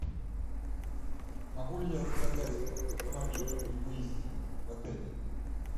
могу ли я заказать автомобиль при выезде в отель